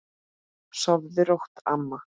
Sofðu rótt, amma.